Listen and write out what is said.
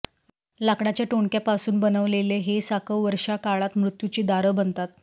लाकडाच्या टोणक्यापासून बनवलेले हे साकव वर्षाकाळात मृत्यूची दारं बनतात